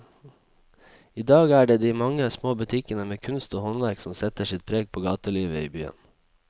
I dag er det de mange små butikkene med kunst og håndverk som setter sitt preg på gatelivet i byen.